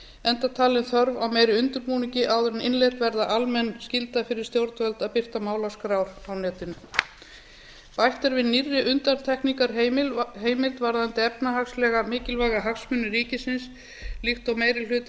enda talin þörf á meiri undirbúningi áður en innleidd verður almenn skylda fyrir stjórnvöld að birta málaskrár á netinu bætt er við nýrri undantekningarheimild varðandi efnahagslega mikilvæga hagsmuni ríkisins líkt og meiri hluti